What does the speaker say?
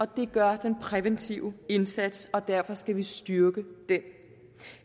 det gør den præventive indsats og derfor skal vi styrke den